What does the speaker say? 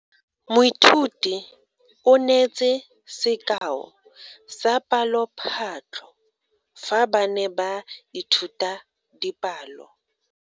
Moithuti o neetse sekao sa palophatlo fa ba ne ba ithuta dipalo.